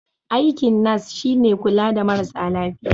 Aikin nas shi ne kula da marasa lafiya.